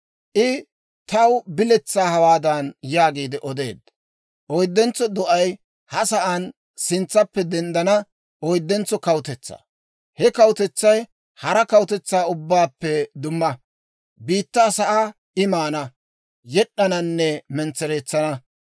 «I taw biletsaa hawaadan yaagi odeedda; ‹Oydentso do'ay ha sa'aan sintsappe denddana oyddentso kawutetsaa. He kawutetsay hara kawutetsaa ubbaappe dumma; biittaa sa'aa I maana, yed'd'ananne mentsereetsana.